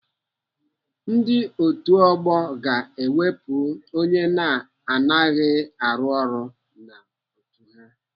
Ndị otu ọgbọ ga-ewepụ onye na-anaghị arụ ọrụ n'otu ha.